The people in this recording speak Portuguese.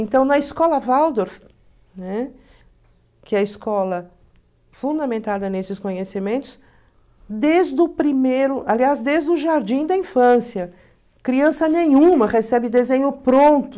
Então, na escola Waldorf, né, que é a escola fundamentada nesses conhecimentos, desde o primeiro, aliás, desde o jardim da infância, criança nenhuma recebe desenho pronto,